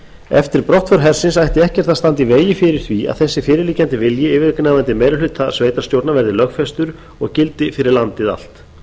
eftir brottför hersins ætti ekkert að standa í vegi fyrir því að fyrirliggjandi vilji yfirgnæfandi meiri hluta sveitarstjórna verði lögfestur og gildi fyrir landið allt